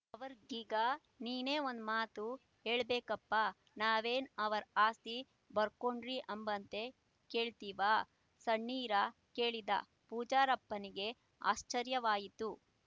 ಅವ್ರಿಗ್ ಹೀಗ ನೀನೇ ಒಂದ್ ಮಾತು ಯೇಳ್ಬೇಕಪ್ಪ ನಾವೇನ್ ಅವ್ರ್ ಆಸ್ತಿ ಬರ್ಕೋಡ್ರಿ ಅಂಬ್ತ ಕೇಳ್ತೀವ ಸಣ್ಣೀರ ಕೇಳಿದ ಪೂಜಾರಪ್ಪನಿಗೆ ಆಶ್ಚರ್ಯವಾಯಿತು